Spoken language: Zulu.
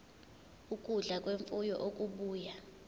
ukudla kwemfuyo okubuya